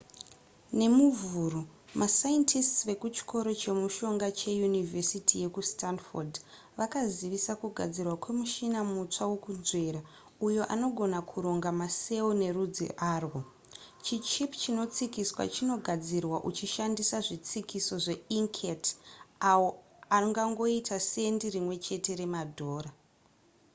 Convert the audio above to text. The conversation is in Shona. nemuvhuru mascientists vekuchikoro chemishonga che yunivhesiti yekustanford vakazivisa kugadzirwa kwe muchina mutsva wekunzvera uyo unogona kuronga macell nerudzi arwo chi chip chinotsikiswa chinogadzirwa uchishandisa zvitsikiso zveinkhet awo anongangoita sendi rimwe chete remadhora